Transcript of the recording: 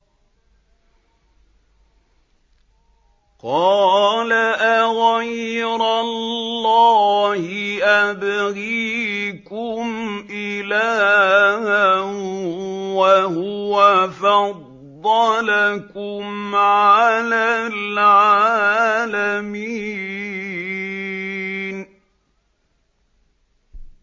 قَالَ أَغَيْرَ اللَّهِ أَبْغِيكُمْ إِلَٰهًا وَهُوَ فَضَّلَكُمْ عَلَى الْعَالَمِينَ